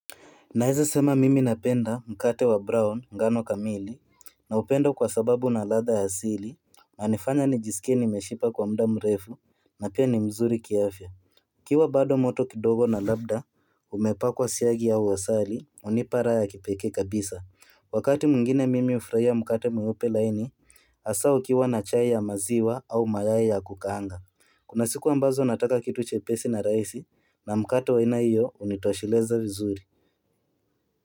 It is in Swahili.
Naeza sema mimi napenda mkate wa brown ngano kamili naupenda kwa sababu una ladha ya asili unanifanya nijisikie nimeshiba kwa muda mrefu na pia ni mzuri kiafya ukiwa bado moto kidogo na labda umepakwa siagi au asali unipa raha ya kipekee kabisa Wakati mwingine mimi ufurahia mkate mweupe laini hasa ukiwa na chai ya maziwa au mayai ya kukaanga Kuna siku ambazo nataka kitu chepesi na rahisi na mkate wa aina hiyo unitosheleza vizuri.